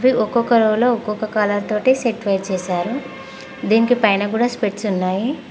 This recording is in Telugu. ఒక్కొక్క రోజు ఒక్కొక్క కలర్ తోటి సెటిల్ చేశారు దీనికి పైన కూడా స్పెట్స్ ఉన్నాయి.